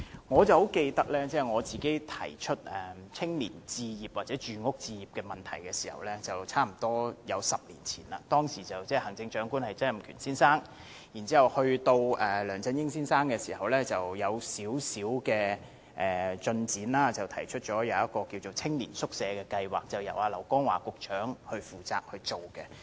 我記得當我提出青年置業的問題時，距今差不多10年，當時的行政長官是曾蔭權先生，其後梁振英先生上任，這方面亦有少許進展，提出了青年宿舍計劃，由劉江華局長負責推行。